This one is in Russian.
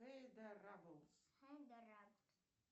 хейдораблс